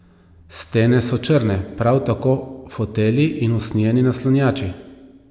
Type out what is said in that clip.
Stene so črne, prav tako fotelji in usnjeni naslonjači.